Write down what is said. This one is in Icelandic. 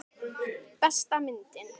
Besta myndin?